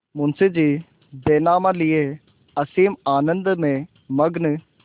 मुंशीजी बैनामा लिये असीम आनंद में मग्न